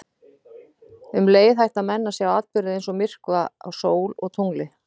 Um leið hætta menn að sjá atburði eins og myrkva á sól og tungli.